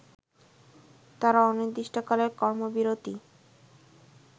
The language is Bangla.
তারা অনির্দিষ্টকালের কর্মবিরতি